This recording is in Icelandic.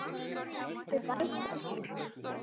Lestu bækur?